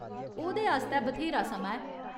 ओह्दे आस्तै बथ्हेरा समां ऐ।